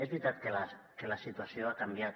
és veritat que la situació ha canviat